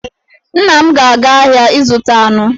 Nna m ga-aga ahịa ịzụta anụ.